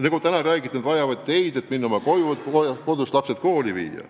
Nagu täna juba räägitud, nad vajavad teid, et sõita koju, et kodust lapsed kooli viia.